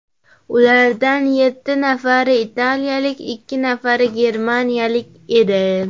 Ulardan yetti nafari italiyalik, ikki nafari germaniyalik edi.